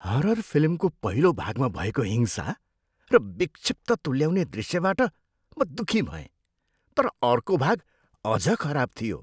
Horror फिल्मको पहिलो भागमा भएको हिंसा र विक्षिप्त तुल्याउने दृश्यबाट म दुखी भएँ तर अर्को भाग अझ खराब थियो।